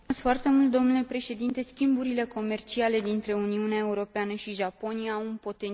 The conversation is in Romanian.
Schimburile comerciale dintre Uniunea Europeană și Japonia au un potențial foarte mare.